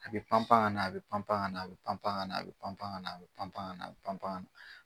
A be panpan ŋana a be panpan ŋana a be panpan ŋana a be panpan ŋana a be panpan ŋana a be panpan ŋana